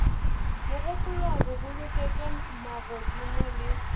mogopolong go boloketša magodimo le